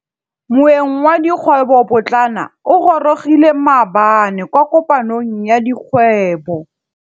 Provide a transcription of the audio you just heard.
Moêng wa dikgwêbô pôtlana o gorogile maabane kwa kopanong ya dikgwêbô.